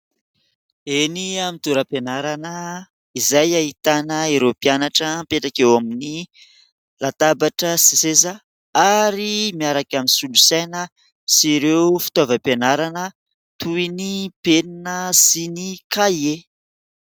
Eny amin'ny toeram-pianarana izay ahitana ireo mpianatra mipetraka eo amin'ny latabatra sy seza ary miaraka amin'ny solosaina sy ireo fitaovam-pianarana toy : ny penina sy ny kahie.